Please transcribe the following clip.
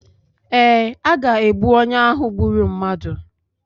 Ee, a ga-egbu onye ahụ gburu mmadụ